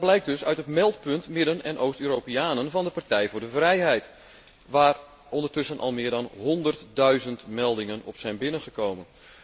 En dat blijkt dus uit het meldpunt Midden en Oost Europeanen van de Partij voor de Vrijheid, waar ondertussen al meer dan honderdduizend meldingen op zijn binnengekomen.